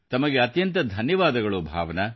ತಮಗೆ ಅತ್ಯಂತ ಧನ್ಯವಾದಗಳು ಭಾವನಾ